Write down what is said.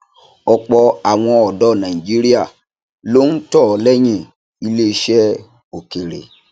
ọpọ àwọn ọdọ nàìjíríà ló ń tọ lẹyìn iléiṣẹ òkèèrè